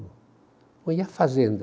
E a fazenda?